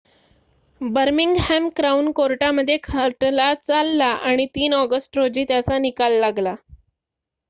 Birmingham crown कोर्टामध्ये खटला चालला आणि ३ ऑगस्ट रोजी त्याचा निकाल लागला